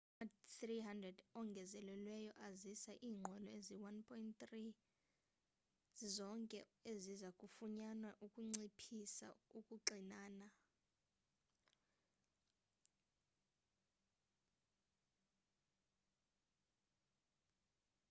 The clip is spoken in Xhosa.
ama-300 ongezelelweyo azisa iinqwelo ezi-1,300 zizonke eziza kufunyanwa ukunciphisa ukuxinana